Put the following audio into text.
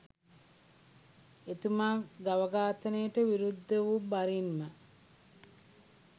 එතුමා ගව ඝාතනයට විරුද්ධ වු බරින්ම